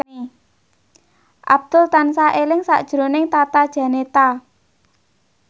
Abdul tansah eling sakjroning Tata Janeta